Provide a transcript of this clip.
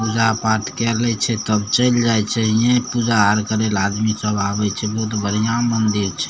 पूजा-पाठ के लय छै तब चल जाय छै हिये पूजा आर करे ले आदमी सब आबे छै बहुत बढ़िया मंदिर छै ।